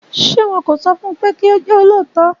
Ṣé wọn kò sọfun pé kí ó jẹ́ olóòótọ́?